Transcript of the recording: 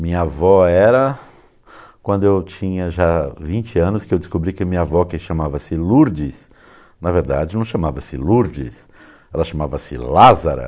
Minha avó era, quando eu tinha já vinte anos, que eu descobri que minha avó, que chamava-se Lourdes, na verdade não chamava-se Lourdes, ela chamava-se Lázara.